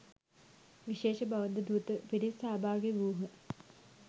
විශේෂ බෞද්ධ දූත පිරිස් සහභාගි වූ හ.